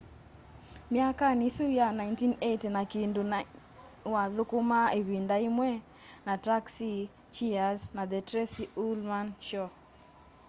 myakani isu ya 1980 na kindu ni wathukumaa ivindi imwe ta taxi cheers na the tracy ullman show